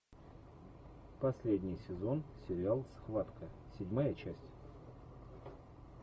последний сезон сериал схватка седьмая часть